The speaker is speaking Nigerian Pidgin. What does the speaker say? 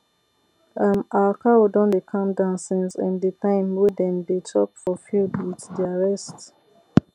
um our cow don dey calm down since um the time wey dem dey chop for field with their rest